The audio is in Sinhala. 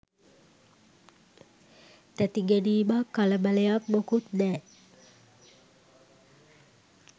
තැති ගැනීමක් කලබලයක් මොකුත් නෑ.